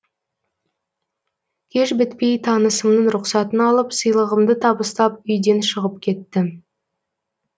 кеш бітпей танысымның рұқсатын алып сыйлығымды табыстап үйден шығып кеттім